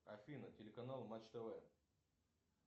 афина телеканал матч тв